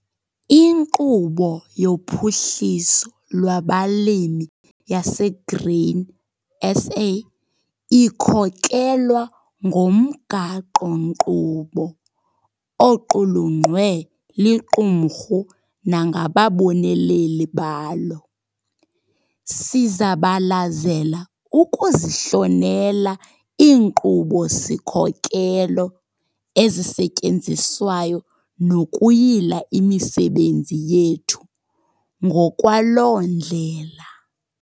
Inkqubo yoPhuhliso lwabaLimi yaseGrain SA ikhokelwa ngomgaqo-nkqubo oqulunqwe liqumrhu nangababoneleli balo. Sizabalazela ukuzihlonela iinkqubo-sikhokelo ezisetyenziswayo nokuyila imisebenzi yethu ngokwaloo ndlela.